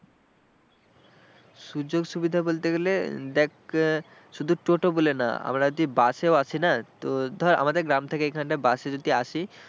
সুযোগ সুবিধা বলতে গেলে দেখ শুধু টোটো বলে না আমরা যদি বাসেও আসি না, তো ধর আমাদের গ্রাম থেকে এখানটা বাসে যদি আসি,